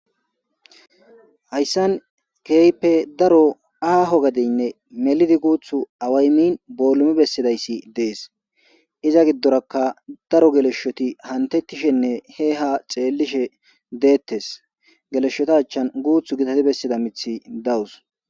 Haysan keehippe daro aho gadeyne melid guthu bolum besidays Des. Iza gidoraka daro geleshot he ha xelishe betes. Geleshota achan guthu gitat besida mithiy dawus.